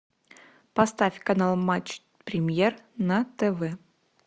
поставь канал матч премьер на тв